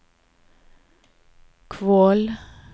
Kvål